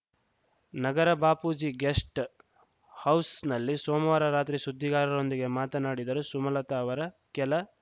ನಗರ Bapuji guest ಹೌಸ್‌ನಲ್ಲಿ ಸೋಮವಾರ ರಾತ್ರಿ ಸುದ್ದಿಗಾರರೊಂದಿಗೆ ಮಾತನಾಡಿದರು ಸುಮಲತಾ ಅವರ ಕೆಲ